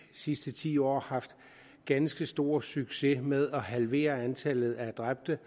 sidste ti år haft ganske stor succes med at halvere antallet af dræbte